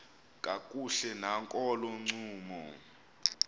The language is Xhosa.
kakuhle nakolo ncumo